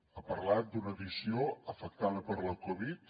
ha parlat d’una edició afectada per la covid